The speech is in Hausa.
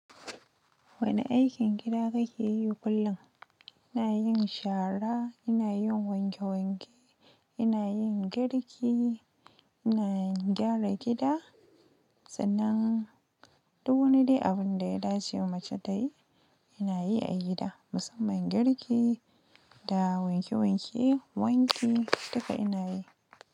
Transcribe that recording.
Wane aikin gida kake yi kullum? Ina yin shara, ina yin wanke wanke, ina yin girki, ina gyara gida. Sannan, duk wani dai abin da ya dace da mace ta yi, ina yi a gida. Musamman girki da wanke wanke, wanki duka ina yi.